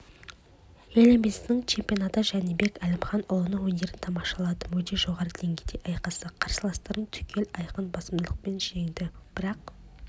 еліміздің чемпионатында жәнібек әлімханұлының өнерін тамашаладым өте жоғары деңгейде айқасты қарсыластарын түгел айқын басымдықпен жеңді бірақ